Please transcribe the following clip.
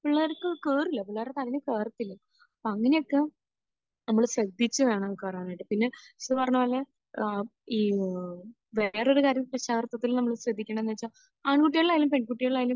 പിള്ളേർക്ക് കേറില്ല. പിള്ളേരുടെ തലയിൽ കേറത്തില്ല. അങ്ങനെയൊക്കെ നമ്മൾ ശ്രദ്ധിച്ച് വേണം കയറാനായിട്ട്. പിന്നെ നിഷിദ പറഞ്ഞത് പോലെ ഏഹ് ഈ വേറെയൊരു കാര്യം രക്ഷാകർത്വത്തിൽ നമ്മൾ ശ്രദ്ധിക്കണമെന്ന് വെച്ചാൽ ആൺകുട്ടികളായാലും പെൺകുട്ടികളായാലും